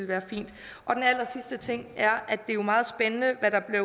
være fint den allersidste ting er at det jo er meget spændende hvad der er